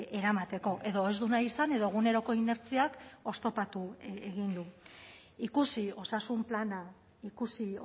eramateko edo ez du nahi izan edo eguneroko inertziak oztopatu egin du ikusi osasun plana ikusi